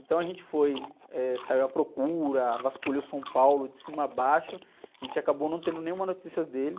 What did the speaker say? Então a gente foi, eh, saiu à procura, vasculhou São Paulo de cima a baixo, a gente acabou não tendo nenhuma notícia dele.